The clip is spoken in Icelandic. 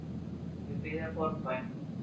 Þau biðja borðbæn.